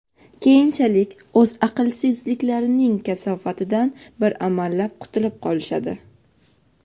keyinchalik o‘z aqlsizliklarining kasofatidan bir amallab qutulib qolishadi.